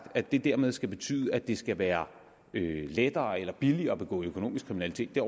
at det dermed skal betyde at det skal være lettere eller billigere at begå økonomisk kriminalitet det